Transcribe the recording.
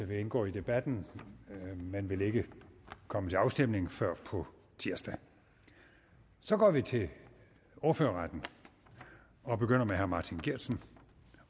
vil indgå i debatten men vil ikke komme til afstemning før på tirsdag så går vi til ordførerrækken og begynder med herre martin geertsen